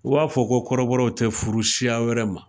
U b'a fɔ ko kɔrɔbɔw tɛ furu siya wɛrɛ ma